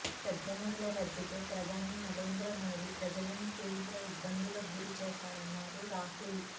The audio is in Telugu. పెద్ద నోట్ల రద్దుతో ప్రధాని నరేంద్రమోడీ ప్రజలను తీవ్ర ఇబ్బందులకు గురి చేశారన్నారు రాహుల్